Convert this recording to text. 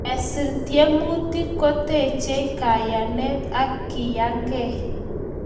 Kesir tiemutik ko techei kayanet ak keyangei